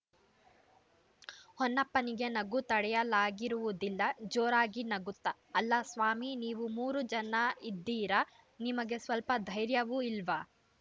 ಹೊನ್ನಪ್ಪನಿಗೆ ನಗು ತಡೆಯಲಾಗಿರುವುದಿಲ್ಲ ಜೋರಾಗಿ ನಗುತ್ತಾ ಅಲ್ಲಾ ಸ್ವಾಮಿ ನೀವು ಮೂರು ಜನ ಇದ್ದೀರಾ ನಿಮಗೆ ಸ್ವಲ್ಪ ಧೈರ್ಯವೂ ಇಲ್ಲವಾ